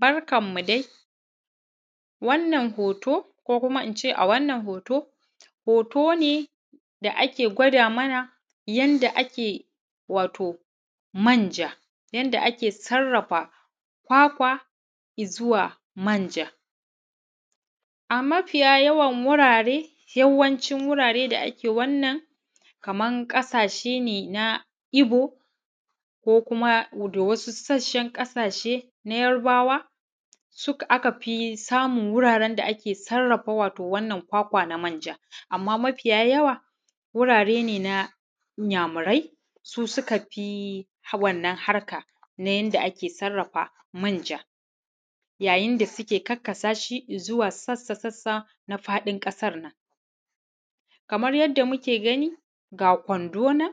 Barkan mu dai wannan hoto ko kuma ince a wannan hoto, hoto ne da ake gawada mana wato yanda ake manja yanda ake sarrafa kwakwa izuwa manja. A mafiya yawan wurare yawancin wurare da ake wannan kaman ƙasashe nena ibo, ko kuma gudo wani sassan ƙasashe na yarbawa a kafi samun wato wuraren da ake sarrafa wato wannan kwakwa na manja. Amma mafiya yawa wurare nena inyamurai su sukafi wannan harkana yanda ake sarrafa manja. Yayinda suke sarrafashi izuwa sassa sassana faɗin ƙasanga. Kamar yadda muke gani ga Kwandonan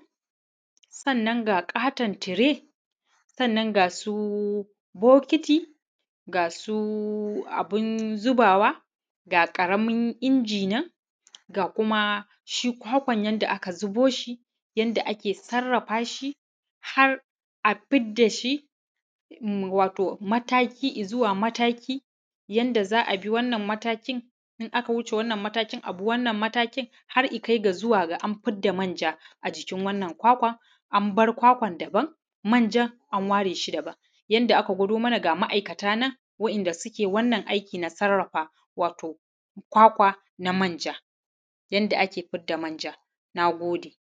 sannan ga ƙaton sannan ga ƙaton tire sannan ga gasu bokiti, gasu abun zubawa, ga ƙaramin injinan ga kumashi kwakwan yanda aka zuboshi yanda aka zuboshi yanda ake sarrafashi har’a fiddashi wato mataki inzuwa mataki. Yanda za’abi wannan matakin in aka wuce wannan matakin abi wannan matakin har’i kaiga an fidda manja a jikin wannan kwakwan anbar kwakwan daban manjan an wareshi daban, yanda aka gwado mana ga ma’ikatanan yadda suke wannan aikina sarrafa wato kwakwana manja yadda ake fidda manja. Nagode